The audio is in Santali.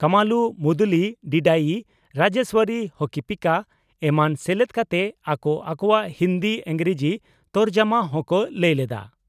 ᱠᱟᱢᱟᱞᱩ ᱢᱩᱫᱩᱞᱤ (ᱰᱤᱰᱟᱭᱤ) ᱨᱟᱡᱮᱥᱣᱚᱨᱤ (ᱦᱚᱠᱤᱯᱤᱠᱟ) ᱮᱢᱟᱱ ᱥᱮᱞᱮᱫ ᱠᱟᱛᱮ ᱟᱠᱚ ᱟᱠᱚᱣᱟᱜ ᱦᱤᱱᱫᱤ/ᱤᱸᱜᱽᱨᱟᱹᱡᱤ ᱛᱚᱨᱡᱚᱢᱟ ᱦᱚᱸᱠᱚ ᱞᱟᱹᱭ ᱞᱮᱫᱼᱟ ᱾